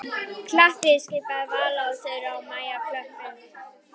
Klappiði skipaði Vala og Þura og Maja klöppuðu.